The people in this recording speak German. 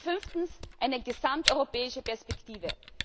Und fünftens eine gesamteuropäische Perspektive.